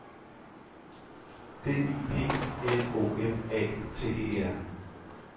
D I P L O M A T E R